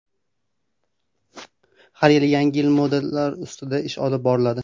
Har yili yangi-yangi modellar ustida ish olib boriladi.